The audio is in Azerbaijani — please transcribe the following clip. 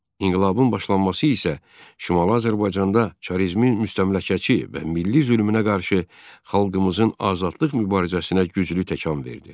İnqilabın başlanması isə Şimali Azərbaycanda çarizmin müstəmləkəçi və milli zülmünə qarşı xalqımızın azadlıq mübarizəsinə güclü təkan verdi.